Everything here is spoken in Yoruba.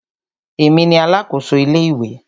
Èmi ni alákòso ilé ìwé.